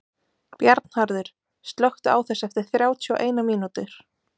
Bjarnharður, slökktu á þessu eftir þrjátíu og eina mínútur.